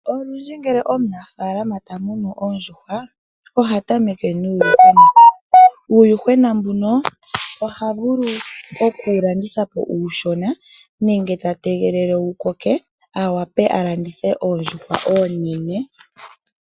Olundji ngele omunafalama ta munu oondjuhwa oha tameke nuuyuhwena. Uuyuhwena mbuno oha vulu oku wu landithapo uushona nenge ta tegelele wu koke a landithe oondjuhwa oonene